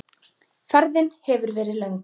Ferðin hefur verið löng.